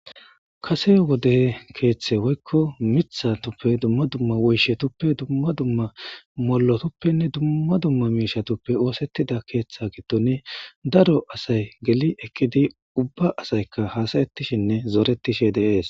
Kase wode kethe woyiko mithatupe duma duma molotupenee duma duma mishtupe osetida ketha giidon daro asay geli eqidi uba asayka hasayshenee zoretishe de'es